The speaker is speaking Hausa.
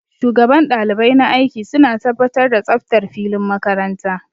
Shugaban ɗalibai na aiki suna tabbatar da tsaftar filin makaranta